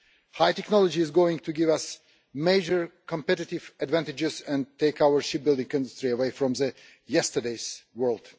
High technology is going to give us major competitive advantages and take our shipbuilding industry out of yesterday's world.